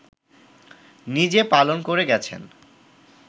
নিজে পালন করে গেছেন